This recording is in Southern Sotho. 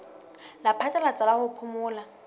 la phatlalatsa la ho phomola